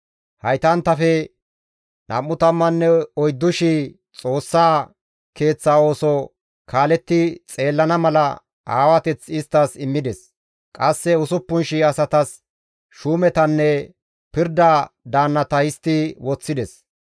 Haytanttafe 24,000 Xoossaa Keeththa ooso kaaletti xeellana mala aawateth isttas immides; qasse 6,000 asatas shuumetanne pirda daannata histti woththides.